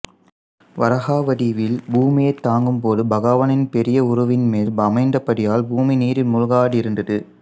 வராஹ வடிவில் பூமியைத்தாங்கும்போது பகவானின் பெரிய உருவின்மேல் அமைந்தபடியால் பூமி நீரில் மூழ்காதிருந்தது